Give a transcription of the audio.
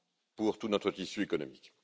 pour tout notre tissu économique.